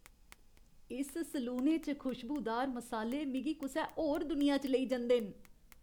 इस सलूने च खुशबूदार मसाले मिगी कुसै होर दुनिया च लेई जंदे न।